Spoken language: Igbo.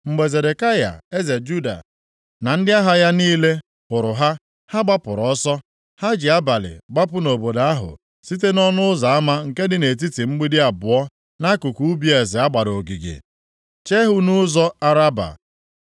Mgbe Zedekaya eze Juda na ndị agha ya niile hụrụ ha, ha gbapụrụ ọsọ. Ha ji abalị gbapụ nʼobodo ahụ site nʼọnụ ụzọ ama nke dị nʼetiti mgbidi abụọ nʼakụkụ ubi eze a gbara ogige, chee ihu nʼụzọ Araba. + 39:4 Ya bụ ndagwurugwu Jọdan